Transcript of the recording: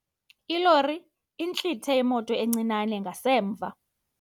Ilori intlithe imoto encinane ngasemva.